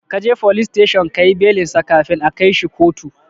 Kaje folis teshon kayi belinsa kafin a kaishi kotu